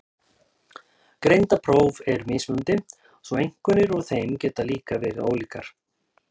Greindarpróf eru mismunandi svo einkunnir úr þeim geta líka verið ólíkar.